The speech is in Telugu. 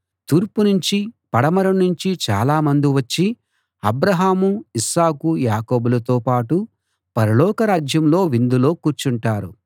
తూర్పు నుంచీ పడమర నుంచీ చాలా మంది వచ్చి అబ్రాహాము ఇస్సాకు యాకోబులతో పాటు పరలోక రాజ్యంలో విందులో కూర్చుంటారు